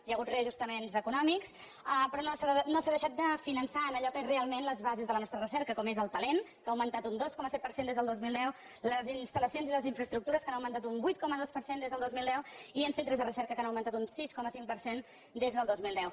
hi ha hagut reajustaments econòmics però no s’ha deixat de finançar allò que és realment les bases de la nostra recerca com és el talent que ha augmentat un dos coma set per cent des del dos mil deu les instal·lacions i les infraestructures que han augmentat un vuit coma dos per cent des del dos mil deu i els centres de recerca que han augmentat un sis coma cinc per cent des del dos mil deu